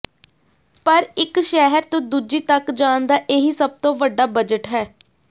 ਪਰ ਇਕ ਸ਼ਹਿਰ ਤੋਂ ਦੂਜੀ ਤੱਕ ਜਾਣ ਦਾ ਇਹੀ ਸਭ ਤੋਂ ਵੱਡਾ ਬਜਟ ਹੈ